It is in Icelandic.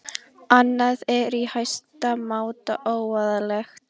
Annað er í hæsta máta óeðlilegt